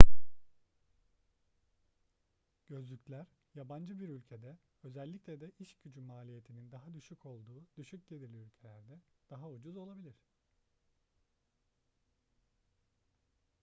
gözlükler yabancı bir ülkede özellikle de iş gücü maliyetinin daha düşük olduğu düşük gelirli ülkelerde daha ucuz olabilir